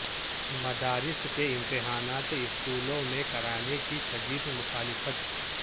مدارس کے امتحانات اسکولوں میں کرانے کی شدید مخالفت